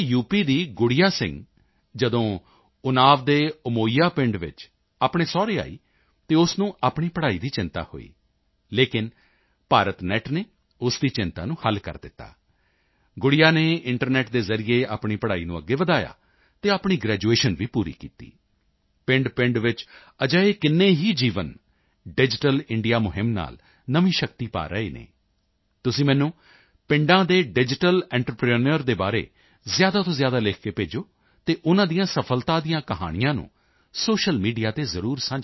ਦੀ ਗੁੜੀਆ ਸਿੰਘ ਜਦੋਂ ਉੱਨਾਵ ਦੇ ਅਮੋਈਆ ਪਿੰਡ ਵਿੱਚ ਆਪਣੇ ਸਹੁਰੇ ਆਈ ਤਾਂ ਉਸ ਨੂੰ ਆਪਣੀ ਪੜ੍ਹਾਈ ਦੀ ਚਿੰਤਾ ਹੋਈ ਲੇਕਿਨ ਭਾਰਤ ਨੈੱਟ ਨੇ ਉਸ ਦੀ ਚਿੰਤਾ ਨੂੰ ਹੱਲ ਕਰ ਦਿੱਤਾ ਗੁੜੀਆ ਨੇ ਇੰਟਰਨੈੱਟ ਦੇ ਜ਼ਰੀਏ ਆਪਣੀ ਪੜ੍ਹਾਈ ਨੂੰ ਅੱਗੇ ਵਧਾਇਆ ਅਤੇ ਆਪਣੀ ਗ੍ਰੈਜੂਏਸ਼ਨ ਵੀ ਪੂਰੀ ਕੀਤੀ ਪਿੰਡਪਿੰਡ ਵਿੱਚ ਅਜਿਹੇ ਕਿੰਨੇ ਹੀ ਜੀਵਨ ਡਿਜੀਟਲ ਇੰਡੀਆ ਮੁਹਿੰਮ ਨਾਲ ਨਵੀਂ ਸ਼ਕਤੀ ਪਾ ਰਹੇ ਹਨ ਤੁਸੀਂ ਮੈਨੂੰ ਪਿੰਡਾਂ ਦੇ ਡਿਜੀਟਲ ਐਂਟਰਪ੍ਰੇਨਿਓਰ ਦੇ ਬਾਰੇ ਜ਼ਿਆਦਾ ਤੋਂ ਜ਼ਿਆਦਾ ਲਿਖ ਕੇ ਭੇਜੋ ਅਤੇ ਉਨ੍ਹਾਂ ਦੀਆਂ ਸਫ਼ਲਤਾ ਦੀਆਂ ਕਹਾਣੀਆਂ ਨੂੰ ਸੋਸ਼ਲ ਮੀਡੀਆ ਤੇ ਜ਼ਰੂਰ ਸਾਂਝਾ ਕਰੋ